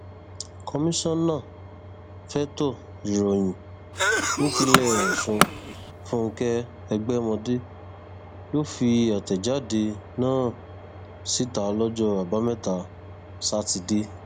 komisanna fẹtọ ìròyìn nípìnlẹ ọsùn fúnkẹ ẹgbẹmọdé ló fi àtẹjáde náà síta lọjọ àbámẹta sátidé